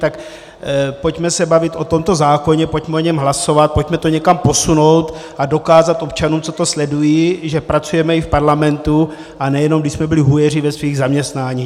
Tak pojďme se bavit o tomto zákoně, pojďme o něm hlasovat, pojďme to někam posunout a dokázat občanům, co to sledují, že pracujeme i v Parlamentu, a nejenom když jsme byli hujeři ve svých zaměstnáních.